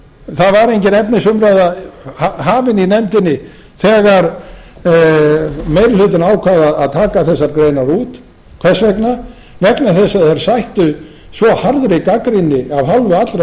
það var engin efnisumræða hafin í nefndinni þegar meiri hlutinn ákvað að taka þessar greinar út þess vegna vegna þess að þær sættu svo harðri gagnrýni af hálfu allra